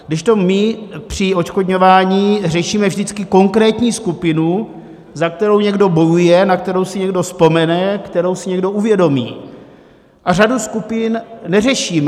Kdežto my při odškodňování řešíme vždycky konkrétní skupinu, za kterou někdo bojuje, na kterou si někdo vzpomene, kterou si někdo uvědomí, a řadu skupin neřešíme.